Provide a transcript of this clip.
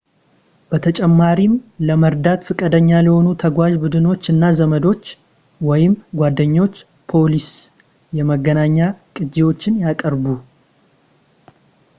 በተጨማሪም ለመርዳት ፈቃደኛ ለሆኑ ተጓዥ ቡድኖች እና ዘመዶች ወይም ጓደኞች ፖሊሲ / የመገናኛ ቅጅዎችን ያቅርቡ